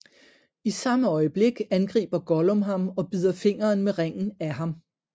I samme øjeblik angriber Gollum ham og bider fingeren med Ringen af ham